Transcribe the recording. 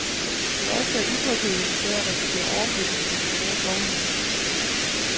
Det værste er utrygheden ved at risikere overflytning til en privat vognmand.